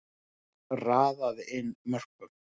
Þar raðaði inn mörkum.